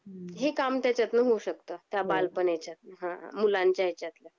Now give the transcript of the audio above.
हे काम त्याच्यातून होऊ शकत त्या बालणेच्या मुलांच्या ह्यांचातल